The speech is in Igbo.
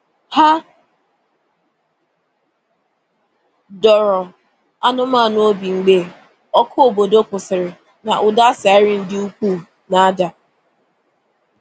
Hà dọ̀ọrọ anụ́manụ obi mgbe ọkụ̀ obodo kwụsịrị̀ na ụda siren dị ukwuù na-ada.